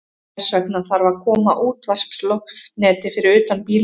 Þess vegna þarf að koma útvarpsloftneti fyrir utan bílinn.